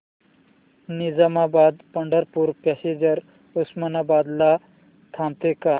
Nizamabad Pandharpur passenger Osmanabad ला थांबते का